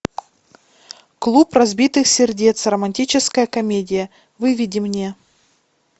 клуб разбитых сердец романтическая комедия выведи мне